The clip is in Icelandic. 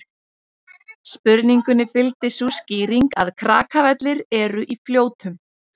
Spurningunni fylgdi sú skýring að Krakavellir eru í Fljótum.